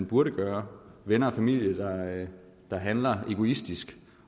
burde gøre venner og familie der handler egoistisk